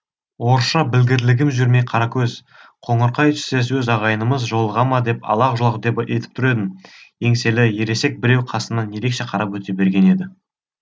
орысша білгірлігім жүрмей қара көз қоңырқай түстес өз ағайынымыз жолыға ма деп алақ жұлақ етіп тұр едім еңселі ересек біреу қасымнан ерекше қарап өте берген еді